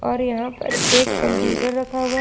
और यहां पर एक कंप्यूटर रखा हुआ है।